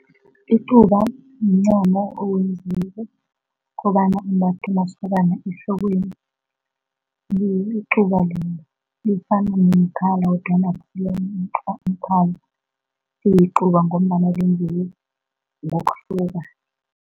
Icuba mncamo owenziwe kobana umbathwe masokana ehlokweni, ngilo icuba lelo, lifana nomkhala kodwana akusiwo umkhala, liyicuba ngombana lenziwe ngokuhluka.